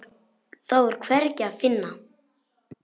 Þá er hvergi að finna.